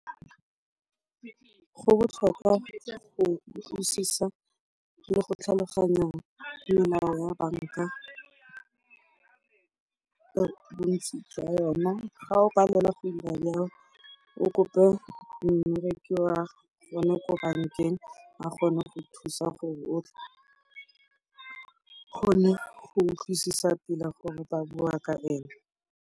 Go botlhokwa go utlwisisa le go tlhaloganya melao ya banka, bontsi jwa yona. Fa o palelwa go dira jalo o kope mmereki wa bone ko bankeng a kgone go thusa gore o tle o kgone go utlwisisa sentle gore ba bua ka eng.